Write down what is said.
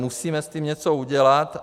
Musíme s tím něco udělat.